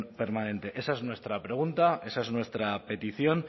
permanente esa es nuestra pregunta esa es nuestra petición